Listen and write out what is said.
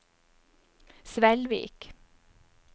Svelvik